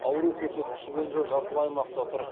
ауру көрсеткіші бойынша жасыл аймақта тұр